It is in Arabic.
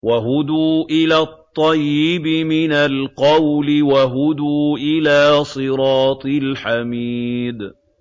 وَهُدُوا إِلَى الطَّيِّبِ مِنَ الْقَوْلِ وَهُدُوا إِلَىٰ صِرَاطِ الْحَمِيدِ